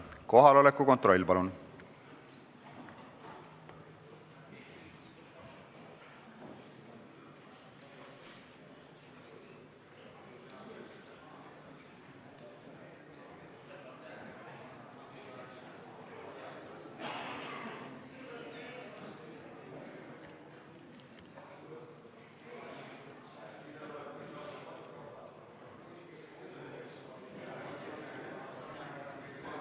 Kohaloleku kontroll, palun!